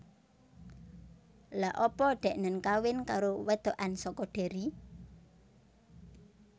Lha apa deknen kawin karo wedokan soko Derry?